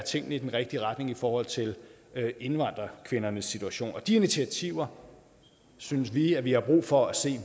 tingene i den rigtige retning i forhold til indvandrerkvindernes situation og de initiativer synes vi vi har brug for at se